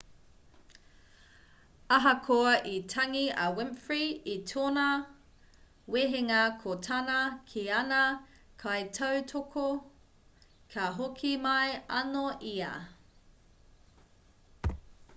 ahakoa i tangi a winfrey i tōna wehenga ko tāna ki ana kaitautoko ka hoki mai anō ia